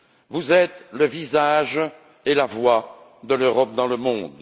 Vous êtes le visage et la voix de l'Europe dans le monde.